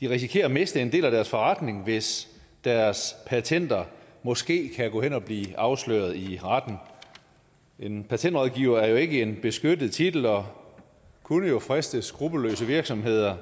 de risikerer at miste en del af deres forretning hvis deres patenter måske kan gå hen og blive afsløret i retten en patentrådgiver er jo ikke en beskyttet titel og kunne jo friste skruppelløse virksomheder